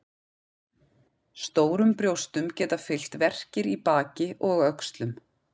Stórum brjóstum geta fylgt verkir í baki og öxlum.